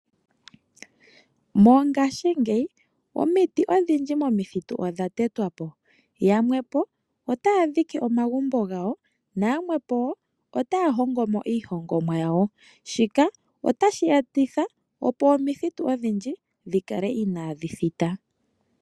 Mongashingeyi omiti odhindji momithitu odhatetwapo, yamwepo otadhike omagumbo ngawo nayamwepo ota hongomo iihongomwa yawo, shika ota shetitha opo omithitu odhindji dhikale inadhithita.